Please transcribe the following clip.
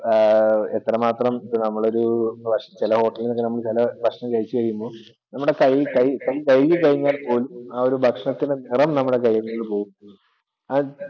എത്രമാത്രം ഇപ്പോൾ നമ്മളൊരു ചില hotel ൽ ചില ഭക്ഷണം കഴിച്ചു കഴിയുമ്പോൾ നമ്മുടെ കൈ കഴുകി കഴിഞ്ഞാൽ പോലും ആ ഒരു ഭക്ഷണത്തിൻ്റെ നിറം നമ്മുടെ കൈയിൽ നിന്നും പോകില്ല.